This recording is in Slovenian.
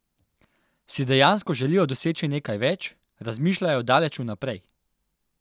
Si dejansko želijo doseči nekaj več, razmišljajo daleč vnaprej?